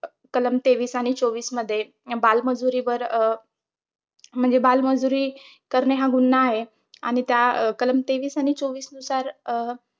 कलम तेवीस आणि चोवीसमध्ये बालमजुरीवर अं म्हणजे बालमजुरी करणे हा गुन्हा आहे. आणि त्या कलम तेवीस आणि चोवीसनुसार अं